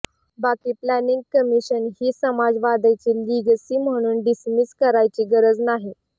बाकी planning commission ही समाजवादाची लीगसी म्हणून डिसमिस करायची गरज नाही